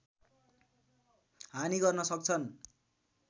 हानि गर्न सक्छन्